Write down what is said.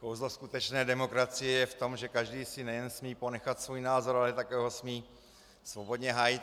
Kouzlo skutečné demokracie je v tom, že každý si nejen smí ponechat svůj názor, ale také ho smí svobodně hájit.